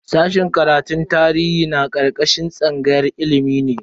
Sashen karatun tarihi na karkashin tsangayar ilimi ne.